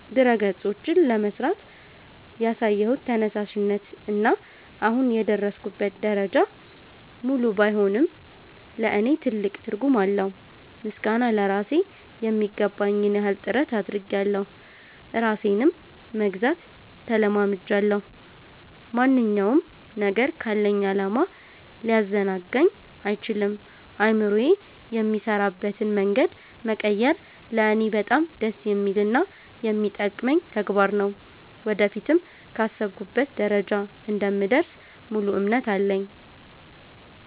ድረ-ገጾችን ለመሥራት ያሳየሁት ተነሳሽነት እና አሁን የደረስኩበት ደረጃ፣ ሙሉ ባይሆንም ለእኔ ትልቅ ትርጉም አለው። ምስጋና ለራሴ ....የሚገባኝን ያህል ጥረት አድርጌያለሁ ራሴንም መግዛት ተለማምጃለሁ። ማንኛውም ነገር ካለኝ ዓላማ ሊያዘናጋኝ አይችልም። አእምሮዬ የሚሠራበትን መንገድ መቀየር ለእኔ በጣም ደስ የሚልና የሚጠቅመኝ ተግባር ነው። ወደፊትም ካሰብኩበት ደረጃ እንደምደርስ ሙሉ እምነት አለኝ።